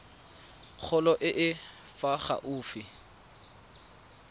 kgolo e e fa gaufi